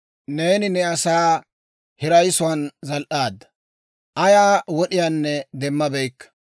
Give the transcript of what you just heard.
Neeni ne asaa hirayisuwaan zal"aadda; ayaa wod'iyaanne demmabeykka.